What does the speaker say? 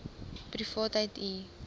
privaatheidu